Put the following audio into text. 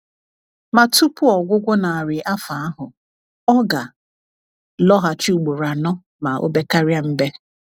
Ma tupu ọgwụgwụ narị afọ ahụ, ọ ga lọghachi ụgboro anọ ma obekaria mbe